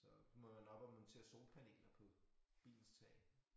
Så må nåh må man til at solpaneler på bilens tag